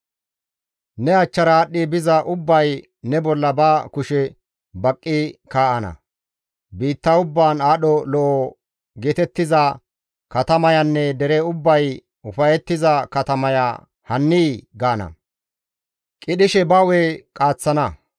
Ne achchara aadhdhi biza ubbay ne bolla ba kushe baqqi kaa7ana; biitta ubbaan aadho lo7o geetettiza katamayanne dere ubbay ufayettiza katamaya hanii?» gaana; qidhishekka ba hu7e qaaththana.